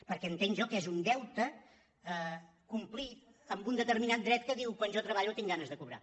perquè entenc jo que és un deute complir amb un determinat dret que diu que quan jo treballo tinc ganes de cobrar